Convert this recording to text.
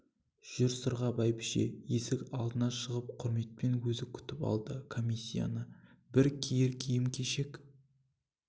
жүр сырға бәйбіше есік алдына шығып құрметпен өзі күтіп алды комиссияны бір киер киім-кешек